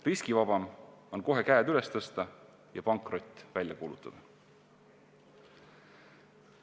Riskivabam on kohe käed üles tõsta ja pankrot välja kuulutada.